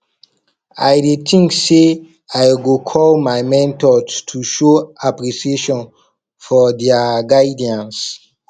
i dey think say i go call my mentor to show appreciation for dia guidance